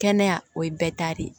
Kɛnɛya o ye bɛɛ ta de ye